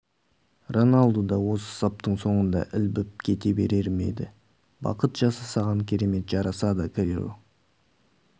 роналду да осы саптың соңында ілбіп кете берер ме еді бақыт жасы саған керемет жарасады криро